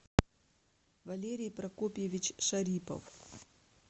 валерий прокопьевич шарипов